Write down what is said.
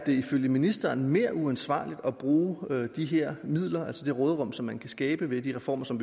ifølge ministeren er mere uansvarligt at bruge de her midler altså det råderum som man kan skabe ved de reformer som